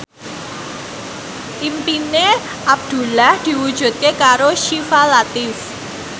impine Abdullah diwujudke karo Syifa Latief